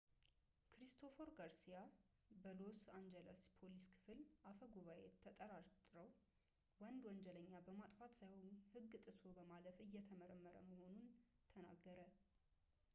ክሪስቶፈር ጋርሲያ የሎስ አንጅለስ ፖሊስ ክፍል አፈጉባኤ ተጠርጣርው ወንድ ወንጀለኛ በማጥፋት ሳይሆን ህግ ጥሶ በማለፍ እየተመረመረ መሆኑን ተናገረ